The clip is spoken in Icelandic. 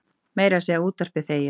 Meira að segja útvarpið þegir.